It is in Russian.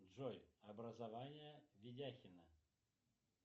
джой образование ведяхина